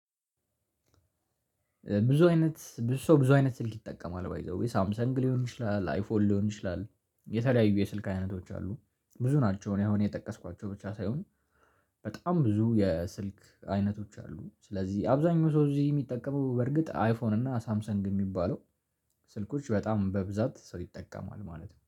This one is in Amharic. ብዙ አይነት ብዙ ሰው ብዙ አይነት ስልክ ይጠቀማል ባይ ዘዌዬ ሳምሰንግ ሊሆን ይችላል አይፎን ሊሆን ይችላል። የተለያዩ የስልክ አይነቶች አሉ። ብዙ ናቸው እኔ አሁን የጠቀስኳቸው ብቻ ሳይሆን በጣም ብዙ የስልክ አይነቶች አሉ። ስለዚህ አብዛኛው ሰው እዚህ የሚጠቀመው በርግጥ አይፎን እና ሳምሰንግ የሚባለው ስልኮች በጣም በብዛት ሰው ይጠቀማል ማለት ነው